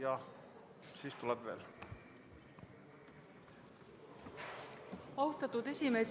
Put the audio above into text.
Austatud esimees!